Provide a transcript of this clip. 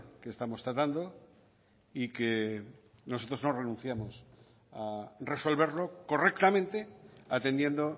que estamos tratando y que nosotros no renunciamos a resolverlo correctamente atendiendo